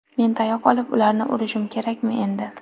Men tayoq olib ularni urishim kerakmi endi?